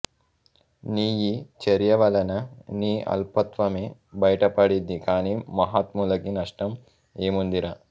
నీయీచర్యవలన నీ అల్పత్వమే బయటపడింది కాని మహాత్ములకి నష్టం ఏముందిరా